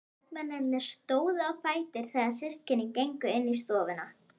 Karlmennirnir stóðu á fætur þegar systkinin gengu í stofuna.